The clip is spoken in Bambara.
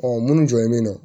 Ɔ munnu jɔlen be yen nɔ